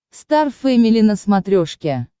стар фэмили на смотрешке